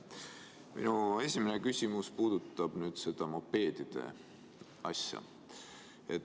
Minu esimene küsimus puudutab seda mopeedide asja.